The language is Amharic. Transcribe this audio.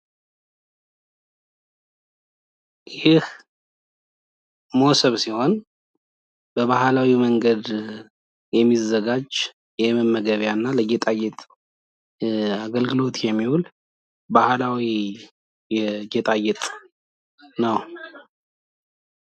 ይህ ሞሰብ ሲሆን በባህላዊ መንገድ የሚዘጋጅ ፣ የመመገቢያ እና ለጌጣጌጥ አገልግሎት የሚዉል ባህላዊ የጌጣጌጥ ነው።